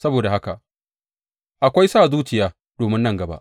Saboda haka akwai sa zuciya domin nan gaba,